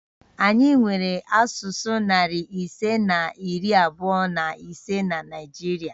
Anyị nwere asụsụ narị ise na iri abụọ na ise na Naịjirịa